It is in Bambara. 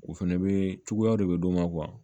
U fɛnɛ be cogoya de d'u ma kuwa